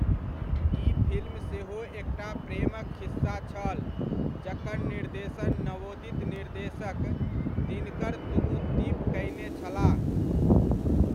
ई film सेहो एकटा प्रेमक खिस्सा छल जकर निर्देशन नवोदित निर्देशक दिनकर तूगुदीप कयने छलाह।